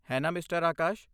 ਹੈ ਨਾ, ਮਿਸਟਰ ਆਕਾਸ਼?